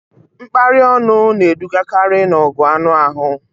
Mkparị ọnụ na-edugakarị n'ọgụ anụ ahụ